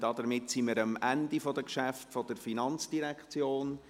Damit sind wir am Ende der Geschäfte der FIN angelangt.